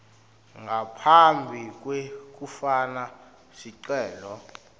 ngaphambi kwekufaka sicelo